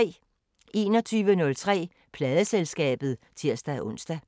21:03: Pladeselskabet (tir-ons)